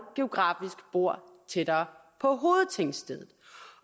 geografisk bor tættere på hovedtingstedet